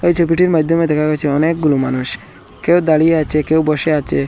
এই ছবিটির মাইদ্যমে দেখা গেছে অনেকগুলো মানুষ কেউ দাঁড়িয়ে আচে কেউ বসে আচে।